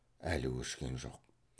әлі өшкен жоқ